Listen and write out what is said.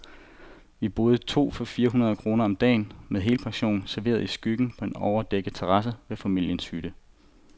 Vi boede to for fire hundrede kroner om dagen, med helpension, serveret i skyggen på en overdækket terrasse ved familiens hytte.